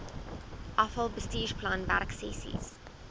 afal bestuursplan werksessies